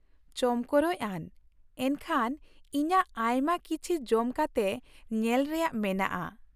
ᱪᱚᱢᱠᱚᱨᱚᱡ ᱟᱱ, ᱮᱱᱠᱷᱟᱱ ᱤᱧᱟᱹᱜ ᱟᱭᱢᱟ ᱠᱤᱪᱷᱤ ᱡᱚᱢ ᱠᱟᱛᱮ ᱧᱮᱞ ᱨᱮᱭᱟᱜ ᱢᱮᱱᱟᱜᱼᱟ ᱾